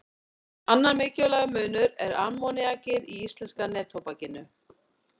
Annar mikilvægur munur er ammoníakið í íslenska neftóbakinu.